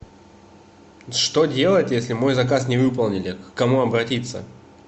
что делать если мой заказ не выполнили к кому обратиться